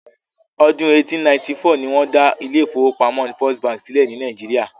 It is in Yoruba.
Ọdún 1894 ni wọ́n dá ilé ìfọwọ́pamo First bank sílẹ̀ ní Nàìjíría.